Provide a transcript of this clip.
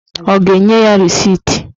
Ọ ga-enye ya resit?